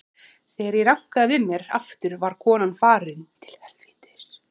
Þegar ég rankaði við mér aftur var konan farin.